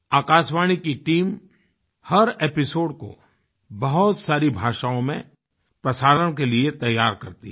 आकाशवाणी की टीम हर एपिसोड को बहुत सारी भाषाओं में प्रसारण के लिए तैयार करती है